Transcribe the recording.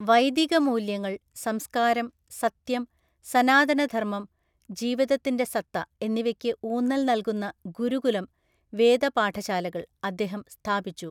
വൈദികമൂല്യങ്ങൾ, സംസ്കാരം, സത്യം, സനാതനധർമ്മം (ജീവിതത്തിന്‍റെ സത്ത) എന്നിവയ്ക്ക് ഊന്നൽ നൽകുന്ന ഗുരുകുലം (വേദപാഠശാലകള്‍) അദ്ദേഹം സ്ഥാപിച്ചു.